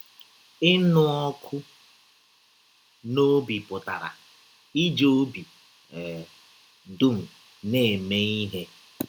Ịnụ ọkụ n’ọbi pụtara “ iji ọbi um dụm na - eme ihe. ”